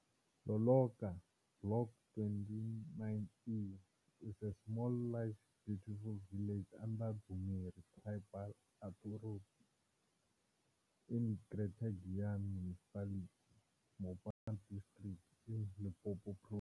Loloka Block 29E is a small larger beautiful Village under Dzumeri Tribal Authority in Greater Giyani Municipality Mopani District in Limpopo Province.